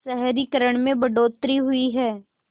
शहरीकरण में बढ़ोतरी हुई है